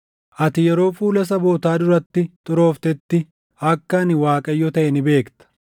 Ati yeroo fuula sabootaa duratti xurooftetti akka ani Waaqayyo taʼe ni beekta.’ ”